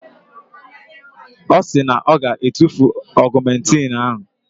Ọ sị na ọ ga-etufu ọgụmentịn ahụ.